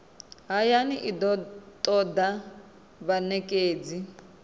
hayani i do toda vhanekedzi